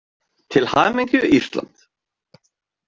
Til hamingju Ísland.